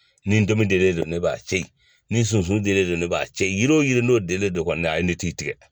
Ni donmi denlen don ne b'a to yen, ni sunsun denlen don ne b'a to yen. Yiri wo yiri n'a denlen don ne t'i tigɛ.